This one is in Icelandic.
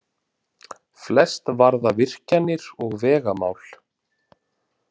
Flest varða virkjanir og vegamál